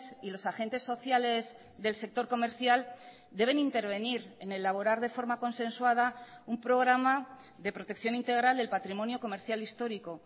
y los agentes sociales del sector comercial deben intervenir en elaborar de forma consensuada un programa de protección integral del patrimonio comercial histórico